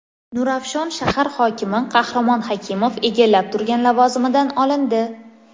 Nurafshon shahar hokimi Qahramon Hakimov egallab turgan lavozimidan olindi.